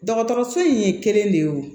Dɔgɔtɔrɔso in ye kelen de ye o